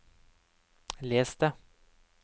les det